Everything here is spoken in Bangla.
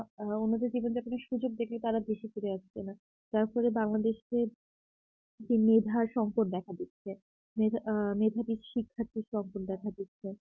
আ অন্যদিন জীবনযাপনে সুযোগ দিলে তারা দেশে ফিরে আসছে না তারপরে বাংলাদেশ যে মেধা সংকট দেখা দিচ্ছে মেধা আ মেধাবী শিক্ষার্থীর সংকট দেখা যাচ্ছে